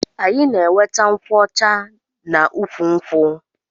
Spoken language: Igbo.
Anyi na enweta nkwụ ọcha na ukwu nkwụ.